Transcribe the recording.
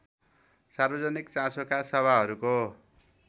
सार्वजनिक चासोका सभाहरूको